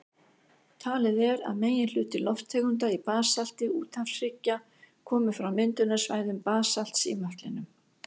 Talið er að meginhluti lofttegunda í basalti úthafshryggja komi frá myndunarsvæðum basalts í möttlinum.